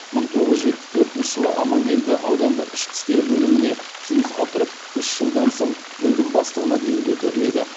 мың тоғыз жүз жетпіс төртінші жылы аманкелді аудандық ішкі істер бөліміне жұмысқа тұрып үш жылдан соң бөлім бастығына дейін көтеріледі